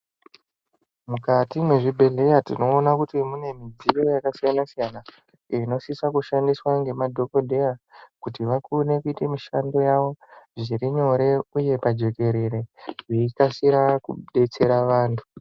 Mukati mwezvibhedhlera tinoona kuti mune midziyo yakasiyana siyana inosisa kushandiswa ngemadhokodheya kuti vakone kuite mishando yavo zvirinyore uye pajekerere veikasira kudetsera vantu.